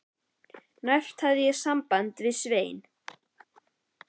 Næst hafði ég samband við Svein